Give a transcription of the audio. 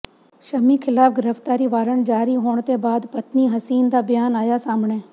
ਸ਼ਮੀ ਖਿਲਾਫ ਗ੍ਰਿਫਤਾਰੀ ਵਾਰੰਟ ਜਾਰੀ ਹੋਣ ਤੋਂ ਬਾਅਦ ਪਤਨੀ ਹਸੀਨ ਦਾ ਬਿਆਨ ਆਇਆ ਸਾਹਮਣੇ